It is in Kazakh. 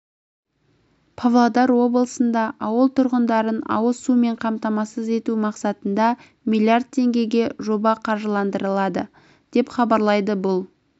павлодар облысында ауыл тұрғындарын ауыз сумен қамтамасыз ету мақсатында миллиард теңгеге жоба қаржыландырылады деп хабарлайды бұл